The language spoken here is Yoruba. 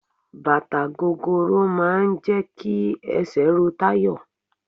Bàtà gogoro máà ń jẹ́ kí esè ro Tayo.